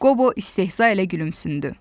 Qobo istehza ilə gülümsündü.